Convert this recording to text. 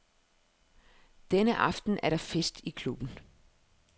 Denne aften er der fest i klubben.